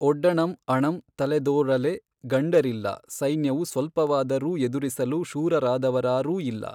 ಒಡ್ಡಣಮ್ ಅಣಂ ತಲೆದೋಱಲೆ ಗಂಡರಿಲ್ಲ ಸೈನ್ಯವು ಸ್ವಲ್ಪವಾದರೂ ಎದುರಿಸಲು ಶೂರರಾದವರಾರೂ ಇಲ್ಲ.